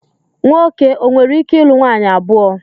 Nwoke o nwereike ilu nwaanyị abụọ?